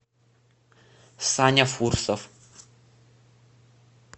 саня фурсов